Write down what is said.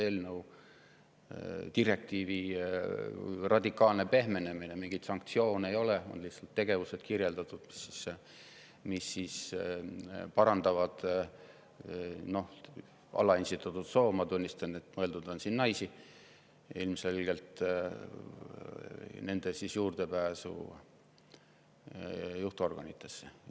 Me oleme saavutanud selle eelnõu, direktiivi radikaalse pehmenemise: mingeid sanktsioone ei ole, on lihtsalt kirjeldatud tegevused, mis parandavad alaesindatud soo – ma tunnistan, et siin on mõeldud ilmselgelt naisi – juurdepääsu juhtorganitesse.